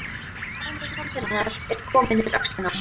Önnur hönd hennar er komin yfir öxlina á honum.